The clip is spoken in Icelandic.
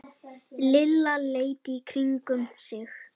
Lilla leit í kringum sig.